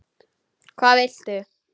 Hvað viltu?